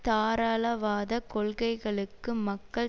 தாராளவாத கொள்கைகளுக்கு மக்கள்